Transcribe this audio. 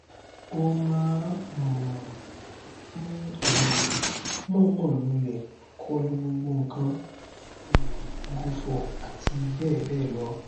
ó máa um ń um mọọnmọ lulẹ kọlu gbogbo nǹkan um gù fò àti bẹẹ bẹẹ lọ